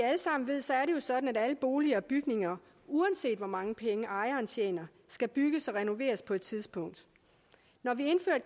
sådan at alle boliger og bygninger uanset hvor mange penge ejeren tjener skal bygges og renoveres på et tidspunkt når vi indfører